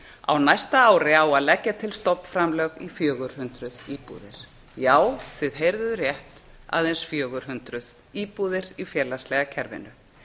á næsta ári á að leggja til stofnframlög í fjögur hundruð íbúðir já þið heyrðuð rétt aðeins fjögur hundruð íbúðir í félagslega kerfinu